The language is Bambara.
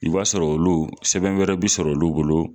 I b'a sɔrɔ olu sɛbɛn wɛrɛ bi sɔrɔ olu bolo